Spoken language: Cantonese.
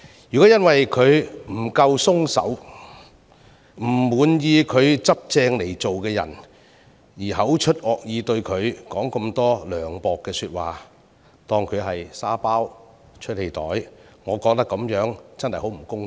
如果因他處事不夠寬鬆和不滿他依規矩辦事而口出惡言，說盡涼薄的話，把他當成"沙包"或"出氣袋"，我認為真的很不公道。